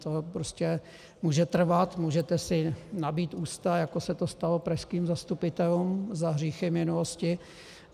To prostě může trvat, můžete si nabít ústa, jako se to stalo pražským zastupitelům za hříchy minulosti.